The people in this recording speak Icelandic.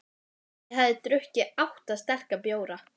Ég hafði drukkið átta sterka bjóra.